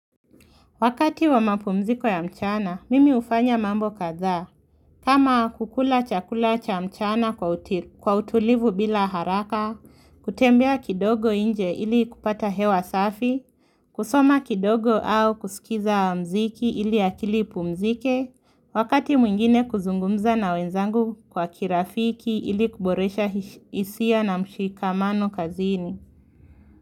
Wakati wa mapumziko ya mchana, mimi hufanya mambo kadha, kama kukula chakula cha mchana kwa kwa utulivu bila haraka, kutembea kidogo inje ili kupata hewa safi, kusoma kidogo au kusikiza muziki ili akili ipumzike, wakati mwingine kuzungumza na wenzangu kwa kirafiki ili kuboresha hisia na mshikamano kazini.